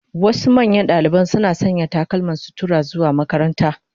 Wasu manyan dalibai suna sanya takalman sutura zuwa makaranta.